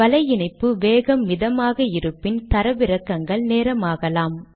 வலை இணைப்பு வேகம் மிதமாக இருப்பின் தரவிறக்கங்கள் நேரமாகலாம்